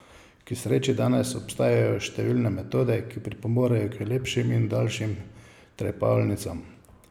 K sreči danes obstajajo številne metode, ki pripomorejo k lepšim in daljšim trepalnicam.